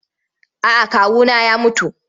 A'a kawuna ya mutu.